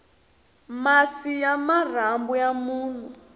masi ya marhambu ya munhu